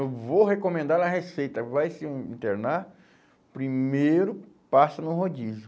Eu vou recomendar a receita, vai se internar, primeiro passa no rodízio.